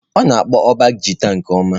ọ na-akpọ ụbọ gita nke ọma.